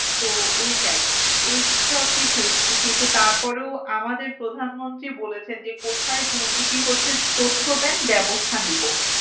তো ওইটাই এইসব কিছুই কিন্তু তার পরেও আমাদের প্রধানমন্ত্রী বলেছেন যে কোথায় দুর্নীতি হচ্ছে তথ্য দেন ব্যবস্থা নিব।